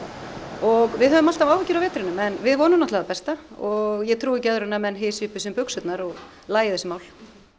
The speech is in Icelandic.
og við höfum alltaf áhyggjur af vetrinum en við vonum það besta og ég trúi ekki öðru en að menn hysji upp um sig buxurnar og lagi þessi mál